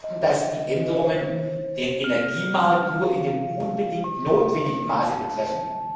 Wir werden darauf achten, dass die Änderungen den Energiemarkt nur in dem unbedingt notwendigen Maße betreffen.